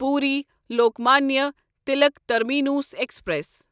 Puri Lokmanya Tilak terminus express